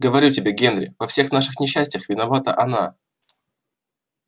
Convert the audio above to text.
говорю тебе генри во всех наших несчастьях виновата она